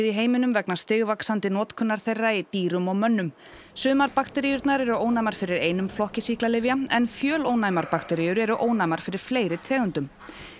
í heiminum vegna stigvaxandi notkunar þeirra í dýrum og mönnum sumar bakteríurnar eru ónæmar fyrir einum flokki sýklalyfja en fjölónæmar bakteríur eru ónæmar fyrir fleiri tegundum